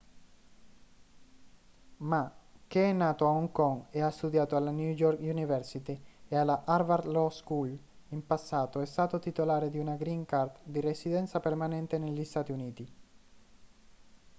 ma che è nato a hong kong e ha studiato alla new york university e alla harvard law school in passato è stato titolare di una green card di residenza permanente negli stati uniti